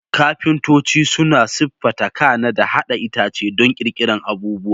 Kafintoci suna siffata, kana da haɗa itace don ƙirƙirar abubuwa.